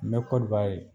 N bɛ kɔdiwari